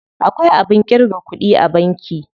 Akwai abin ƙirga kuɗi a banki.